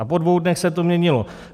A po dvou dnech se to měnilo.